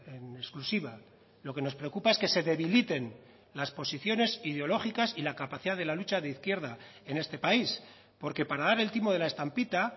en exclusiva lo que nos preocupa es que se debiliten las posiciones ideológicas y la capacidad de la lucha de izquierda en este país porque para dar el timo de la estampita